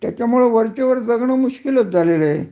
त्याच्यामुळे वरच्या वर जगण मुश्कील झालेल आहे